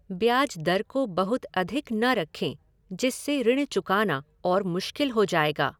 ब्याज दर को बहुत अधिक न रखें, जिससे ऋृण चुकाना और मुश्किल हो जाएगा।